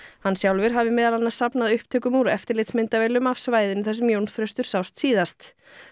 hann sjálfur hafi meðal annars safnað upptökum úr eftirlitsmyndavélum af svæðinu þar sem Jón Þröstur sást síðast